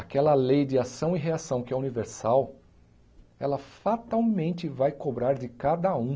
Aquela lei de ação e reação que é universal, ela fatalmente vai cobrar de cada um.